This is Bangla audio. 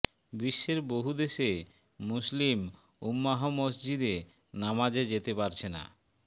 বিশ্বের বহু দেশে মুসলিম উম্মাহ মসজিদে নামাজে যেতে পারছে না